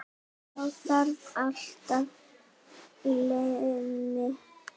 Þá þarftu alltaf leyfi.